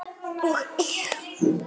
Og er.